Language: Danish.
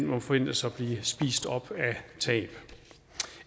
må forventes at blive spist op af tab